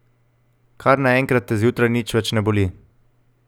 Kar naenkrat te zjutraj nič več ne boli.